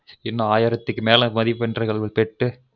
இன்னும் ஆயிரத்துக்குமேல மதிப்பென்கள் பெற்று